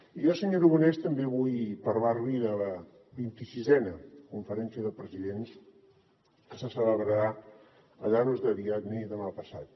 i jo senyor aragonès també vull parlar li de la xxvi conferència de presidents que se celebrarà a llanos de aridane demà passat